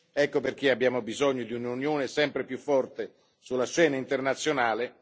Ecco perché abbiamo bisogno di un'Unione sempre più forte sulla scena internazionale.